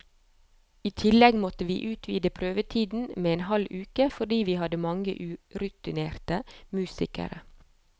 I tillegg måtte vi utvide prøvetiden med en halv uke, fordi vi hadde mange urutinerte musikere.